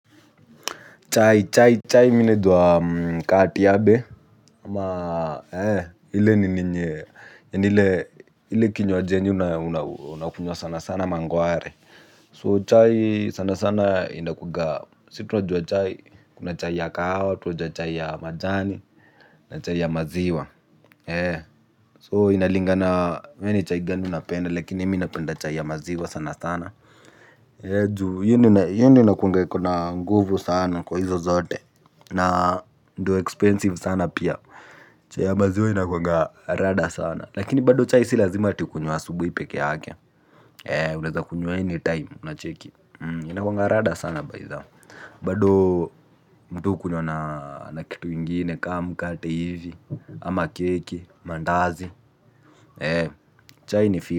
Chai chai chai mimi najua kama tiabe ama ile nini yenye ile kinywaji yenye unakunywa sana sana mangware so chai sanasana inakuanga sisi tunajua chai kuna chai ya kahawa tunajuaa chai ya majani na chai ya maziwa so inalingana wewe ni chai gani unapenda lakini mimi napenda chai ya maziwa sanasana juu hiyo ndio inakuanga iko na nguvu sana kwa hizo zote na ndio expensive sana pia chai maziwa inakuanga rada sana lakini bado chai si lazima ati ukunywe asubuhi pekee yake unaezakunywa anytime ucheki inakuanga rada sana bytha bado mtu hukunywa na kitu ingine kama mkate hivi ama keki mandazi chai ni.